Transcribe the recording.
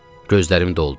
Gözlərim doldu.